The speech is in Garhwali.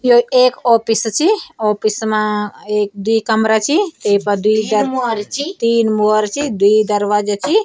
यो एक ऑफिस ची ऑफिस मा एक द्वि कमरा ची येफर द्वि तीन मुओर ची द्वि दरवाजा ची।